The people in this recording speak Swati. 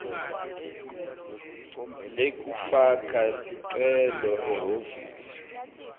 lekufaka sicelo ehhovisi